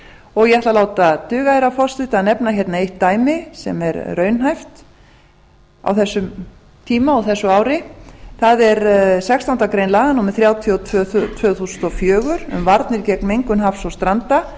og ég ætla að láta duga herra forseti að nefna hérna eitt dæmi sem er raunhæft á þessum tíma og þessu ári það er sextándu grein laga númer þrjátíu og tvö tvö þúsund og fjögur um varnir gegn mengun hafs og stranda